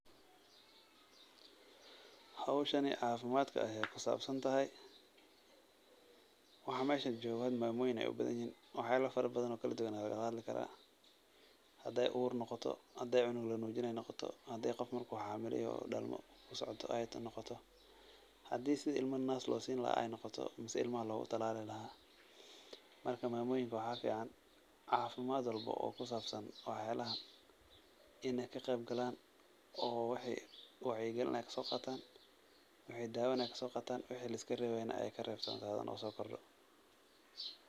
Howshani cafimaadka ayeey kusaabsan tahay, waxa meeshan joogo hada maamoyin ayeey ubadan yihiin, wax yaaba fara badan oo kala duban ayaa laga hadli karaa, hadaay uur noqoto, hadaay cunug lanuujinaayo noqoto, hadaay qof marki uu xamila yoho oo dalmo soo socoto noqoto, hadii ilma sidi naas loo siini lahaa noqoto mise ilmaha loogu danaanin lahaa, marka maamoyinka waxaa fican cafimaad walbo oo kusaabsan wax yaabahan inaay ka qeyb galaan, oo wixi wacyi galin ah kasoo qaatan, wixi daawa ah aay kasoo qaatan, wixi liskareebo na aay kareebtoobaan oo soo kordo.